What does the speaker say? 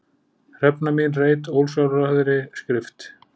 Hrefna mín reit ósjálfráðri skrift.